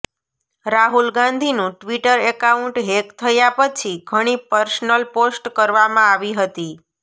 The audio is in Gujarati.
રાહુલ ગાંધીનું ટ્વિટર એકાઉન્ટ હેક થયા પછી ઘણી પર્સનલ પોસ્ટ કરવામાં આવી હતી